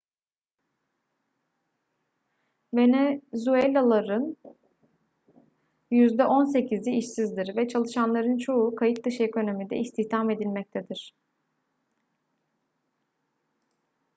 venezuelalıların yüzde on sekizi işsizdir ve çalışanların çoğu kayıt dışı ekonomide istihdam edilmektedir